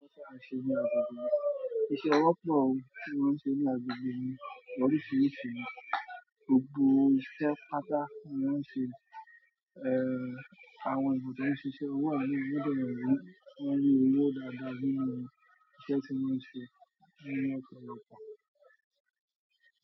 Iṣẹ́ ọwọ́ tó tí wọ́n ń ṣe ní agbègbè mi lóríṣiríṣi. Gbogbo ìṣẹ́ pata mọ́n ń ṣe, eh, àwọn èbúté ń ṣiṣẹ́, owó àdúrà gbọdọ̀ wọ́n rí owó dáadáa nínú ìṣe tí wọ́n ń ṣe nínú ọkọ̀ ìyèpẹ̀.